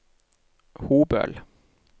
Hobøl